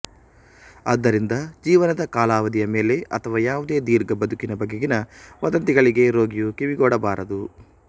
ಆದ್ದರಿಂದ ಜೀವನದ ಕಾಲಾವಧಿಯ ಮೇಲೆ ಅಥವಾ ಯಾವದೇ ದೀರ್ಘ ಬದುಕಿನ ಬಗೆಗಿನ ವದಂತಿಗಳಿಗೆ ರೋಗಿಯು ಕಿವಿಗೊಡಬಾರದು